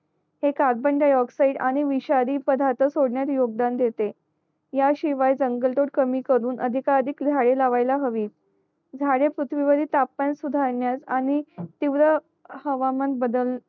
ते कार्बनडायऑक्सिड आणि विषारी पधरात सोडण्यात योगदान देतेह्या शिवाय जंगल तोड कमी करून अधिका अधिक झाडे लावायला हवी झाडे पृथ्वी वरील तापमान सुधारण्यास आणि तिव्र हवामान बदल